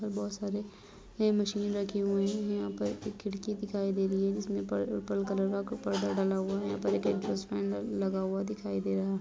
बहुत सारे ये मशीन रखी हुई हैं। यहाँ पर एक खिड़की दिखाई दे रही है जिसमें कलर का कपड़ा टंगा हुआ है। यहाँ पर एक एक्स्हौष्ट फैन लगा हुआ दिखाई दे रहा हैं।